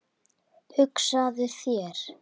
Hugsaðu þér!